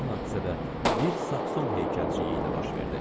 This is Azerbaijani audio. Elə həmin hadisə də bir Sakson heykəlciyi ilə baş verdi.